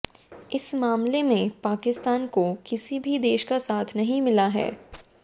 इस मामले में पाकिस्तान को किसी भी देश का साथ नहीं मिला है